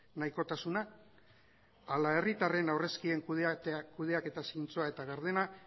nahikotasuna ala herritarren aurrezkien kudeaketa zintzoa eta gardena